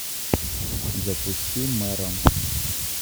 запусти мэрон